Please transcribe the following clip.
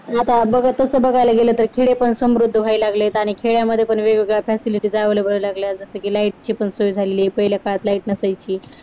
आता बघा तसं बघायला गेलं तर खेडे पण समृद्ध व्हायला लागलेत आणि खेड्यांमध्ये पण वेगवेगळ्या facilities available व्हायला लागल्यात जास्त की light ची सवय झालेली पहिल्या काळात light नसायची